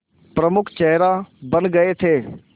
प्रमुख चेहरा बन गए थे